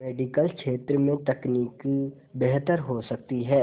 medical क्षेत्र में तकनीक बेहतर हो सकती है